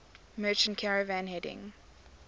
merchant caravan heading